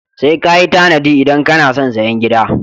Sai ka yi tanadi idan kano son sayen gida.